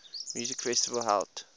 music festival held